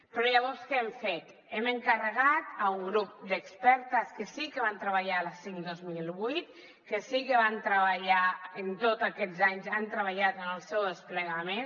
però llavors què hem fet hem encarregat a un grup d’expertes que sí que van treballar la cinc dos mil vuit que sí que hi van treballar i en tots aquests anys han treballat en el seu desplegament